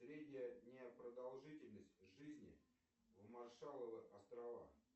средняя продолжительность жизни на маршалловых островах